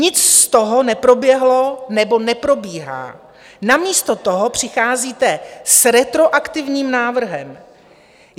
Nic z toho neproběhlo nebo neprobíhá, namísto toho přicházíte s retroaktivním návrhem.